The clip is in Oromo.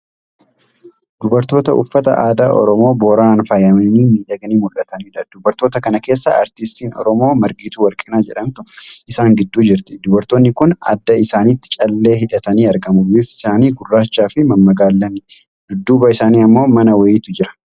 Dubartoota uffata aadaa Oromoo Booranaan faayamanii miidhaganii mul'ataniidha. Dubartoota kana keessa artistiin Oromoo Margituu Warqinaa jedhamtu isaan gidduu jirti. Dubartoonni kun adda isaanitti callee hidhatanii argamu. Bifti isaanii gurraacha fi mammagaallani. Dudduuba isaanii ammo mana wayiitu jira.